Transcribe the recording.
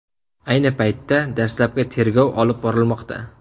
Ayni paytda dastlabki tergov olib borilmoqda.